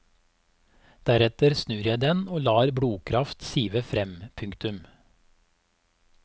Deretter snur jeg den og lar blodkraft sive frem. punktum